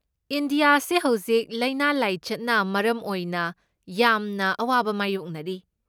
ꯏꯟꯗꯤꯌꯥꯁꯦ ꯍꯧꯖꯤꯛ ꯂꯥꯏꯅꯥ ꯂꯥꯏꯆꯠꯅ ꯃꯔꯝ ꯑꯣꯏꯅ ꯌꯥꯝꯅ ꯑꯋꯥꯕ ꯃꯥꯢꯌꯣꯛꯅꯔꯤ꯫